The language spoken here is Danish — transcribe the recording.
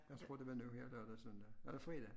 Jeg tror det var nu her lørdag søndag eller fredag